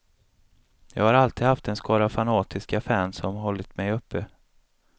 Jag har alltid haft en skara fanatiska fans som hållit mig uppe.